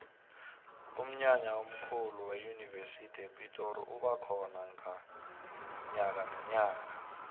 umnyanya omkhulu weyunivesi yepitori uba khona nyakanonyaka